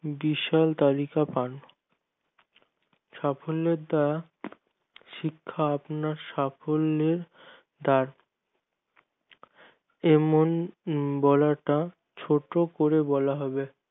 বিশাল তালিকা পান সাফল্যের দ্বারা শিক্ষা আপনার সাফল্যের দায় এমন বলাটা ছোট করে বলা হবে